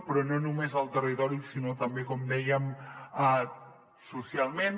però no només al territori sinó també com dèiem socialment